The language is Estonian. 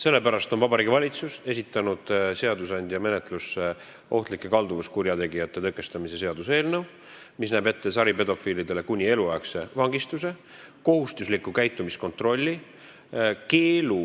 Sellepärast on Vabariigi Valitsus esitanud seadusandja menetlusse ohtlike kalduvuskurjategijate tõkestamise seaduse eelnõu, mis näeb ette saripedofiilidele kuni eluaegse vangistuse, kohustusliku käitumiskontrolli, keelu